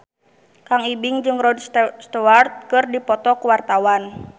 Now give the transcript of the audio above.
Kang Ibing jeung Rod Stewart keur dipoto ku wartawan